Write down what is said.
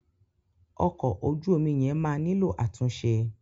Ọkọ̀ ojú omi yẹn máa nílò àtúnṣe.